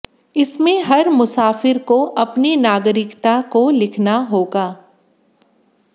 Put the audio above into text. इसमें हर मुसाफिर को अपनी नागरिकता को लिखना होगा